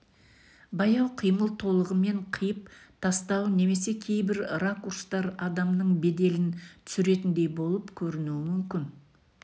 баяу қимыл толығымен қиып тастау немесе кейбір ракурстар адамның беделін түсіретіндей болып көрінуі мүмкін